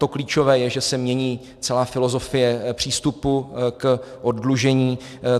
To klíčové je, že se mění celá filozofie přístupu k oddlužení.